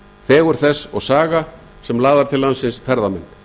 fegurð þess og saga sem laðar til landsins ferðamenn